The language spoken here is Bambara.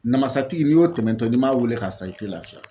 Namasatigi n'i y'o tɛmɛtɔ ye n'i m'a weele k'a san i tɛ lafiya.